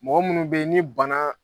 Mɔgɔ minnu bɛ yen ni bana